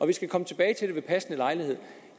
vi skal komme tilbage til det ved passende lejlighed